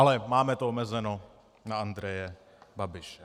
Ale máme to omezeno na Andreje Babiše.